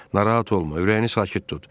Narahat olma, ürəyini sakit tut.